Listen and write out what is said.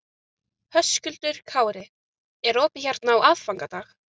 Höskuldur Kári: Er opið hérna á aðfangadag?